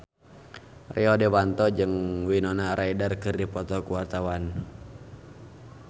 Rio Dewanto jeung Winona Ryder keur dipoto ku wartawan